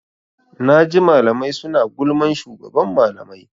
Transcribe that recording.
Naji malamai suna gulman shugaban malamai.